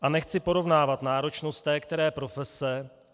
A nechci porovnávat náročnost té které profese.